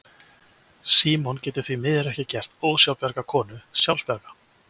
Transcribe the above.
Símon getur því miður ekki gert ósjálfbjarga konu sjálfbjarga.